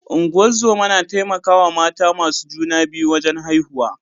Ungozoma na taimaka wa mata masu juna biyu wajen haihuwa.